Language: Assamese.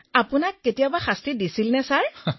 বিনোলেঃ আপুনিও শাস্তিৰ সন্মুখীন হৈছিল নে